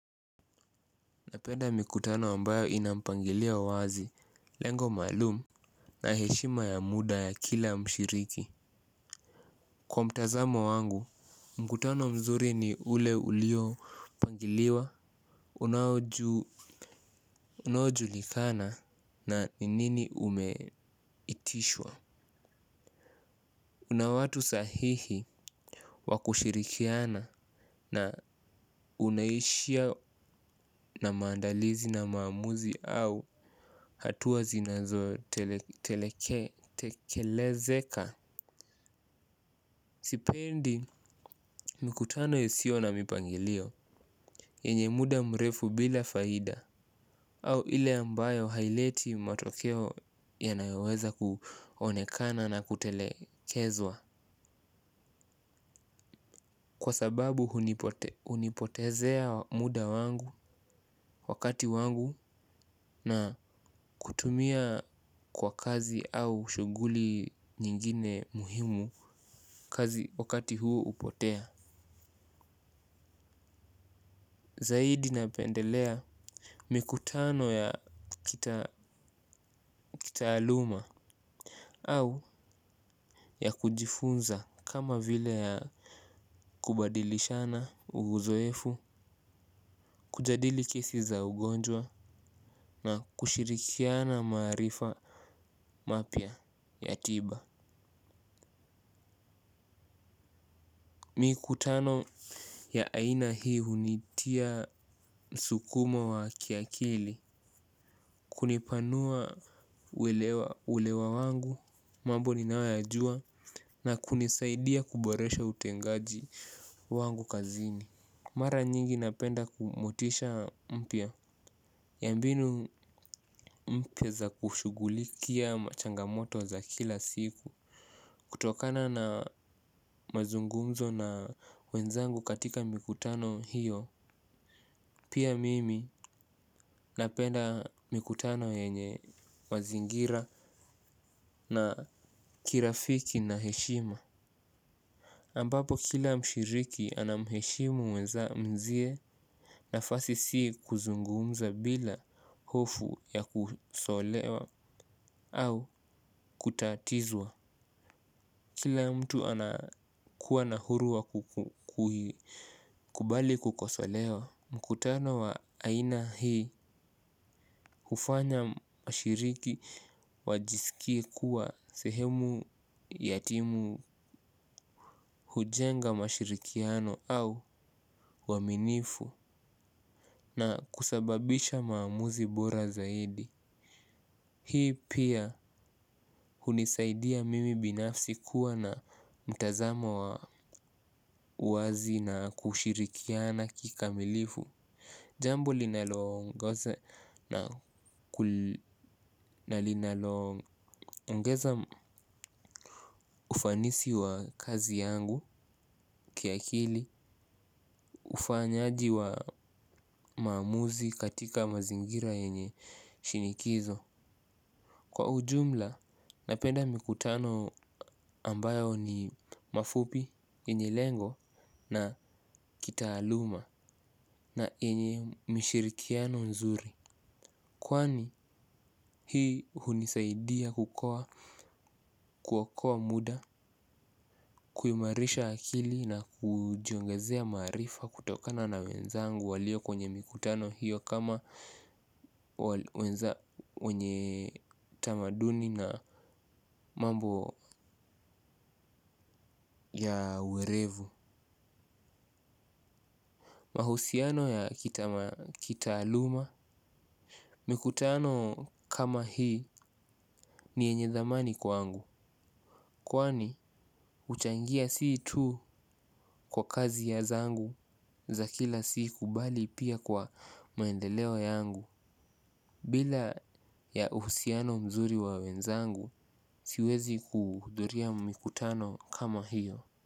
Napenda mikutano ambayo inampangilio wazi lengo maalumu. Na heshima ya muda ya kila mshiriki kwa mtazamo wangu, mkutano mzuri ni ule ulio pangiliwa, unaojulikana na ninini umeitishwa. Una watu sahihi wakushirikiana na unaishia na maandalizi na maamuzi au hatua zinazo telekelezeka. Sipendi mikutano hisio na mipangilio yenye muda mrefu bila faida. Au ile ambayo haileti matokeo yanayoweza kuonekana na kutelekezwa. Kwa sababu hunipotezea muda wangu wakati wangu na kutumia kwa kazi au shuguli nyingine muhimu. Kazi wakati huu hupotea Zahidi napendelea mikutano ya kitaaluma au ya kujifunza kama vile ya kubadilishana uuzoefu. Kujadili kesi za ugonjwa na kushirikiana marifa mapya ya tiba. Mikutano ya aina hii hunitia msukumo wa kiakili. Kunipanua ulewa wangu. Mambo ninayoyajua na kunisaidia kuboresha utengaji wangu kazini. Mara nyingi napenda kumotisha mpya yambinu mpya za kushugulikia machangamoto za kila siku. Kutokana na mazungumzo na wenzangu katika mikutano hiyo. Pia mimi napenda mikutano yenye mazingira na kirafiki na heshima ambapo kila mshiriki anamheshimu weza mwenzie nafasi si kuzungumza bila hofu ya kusolewa au kutatizwa. Kila mtu anakuwa nahuru wa kubali kukosolewa. Mkutano wa aina hii hufanya washiriki wajisikie kuwa sehemu yatimu. Hujenga mashirikiano au uaminifu na kusababisha maamuzi bora zaidi, hii pia hunisaidia mimi binafsi kuwa na mtazamo wa uwazi na kushirikiana kikamilifu. Jambo linalongoza na linalo ongeza ufanisi wa kazi yangu kia kili ufanyaji wa maamuzi katika mazingira yenye shinikizo. Kwa ujumla, napenda mikutano ambayo ni mafupi, yenye lengo na kita aluma na yenye mishirikiano nzuri. Kwani hii hunisaidia kukoa kuokoa muda, kuyumarisha akili na kujiongezea marifa kutokana na wenzangu walio kwenye mikutano hiyo kama wenye tamaduni na mambo ya uerevu. Mahusiano ya kitaaluma, mikutano kama hii ni yenye dhamani kwangu. Kwani huchangia siitu kwa kazi ya zangu za kila siku bali pia kwa maendeleo yangu. Bila ya uhusiano mzuri wa wenzangu siwezi kuhudhuria mikutano kama hiyo.